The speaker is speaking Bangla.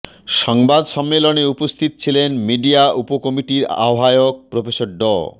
সংবাদ সম্মেলনে উপস্থিত ছিলেন মিডিয়া উপকমিটির আহ্বায়ক প্রফেসর ড